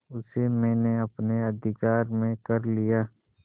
उसे मैंने अपने अधिकार में कर लिया